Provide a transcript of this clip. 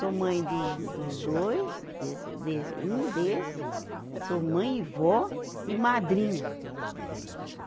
Sou mãe dos, dos dois, desse, desse, um desse, sou mãe e vó e madrinha.